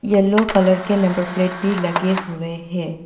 Yellow colour के number plate भी लगे हुए हैं।